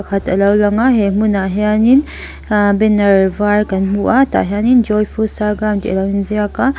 khat alo langa he hmunah hianin a banner var kan hmu a tah hianin joy futsal ground tih alo inziak a.